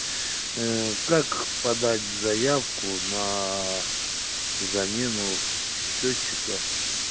ээ как подать заявку на замену счётчика